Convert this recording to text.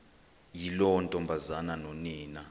yiloo ntombazana nonina